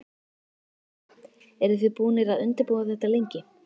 Lillý: Eru þið búnir að undirbúa þetta lengi?